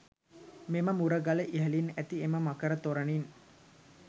මෙම මුරගල ඉහළින් ඇති එම මකර තොරණින්